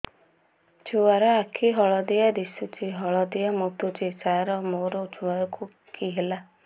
ଛୁଆ ର ଆଖି ହଳଦିଆ ଦିଶୁଛି ହଳଦିଆ ମୁତୁଛି ସାର ମୋ ଛୁଆକୁ କି ହେଲା